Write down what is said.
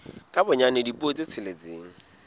ka bonyane dipuo tse tsheletseng